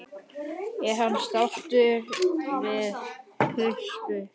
Er hann sáttur við sitt hlutskipti?